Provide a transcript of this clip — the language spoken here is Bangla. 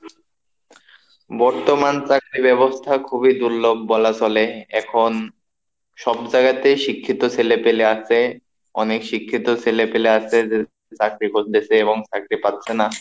বর্তমান চাকরি ব্যবস্থা খুবই দুর্লভ বলা চলে, এখন সব জায়গাতেই শিক্ষিত ছেলেপেলে আছে অনেক শিক্ষিত ছেলেপেলে আছে চাকরি করতেছে এবং চাকরি পাচ্ছে না,